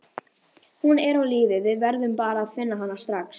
Hún er á lífi, við verðum bara að finna hana strax.